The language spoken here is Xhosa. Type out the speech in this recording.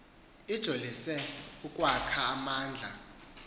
ijolise ukwakha amandla